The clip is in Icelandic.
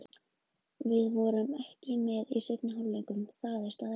Við vorum ekki með í seinni hálfleiknum, það er staðreynd.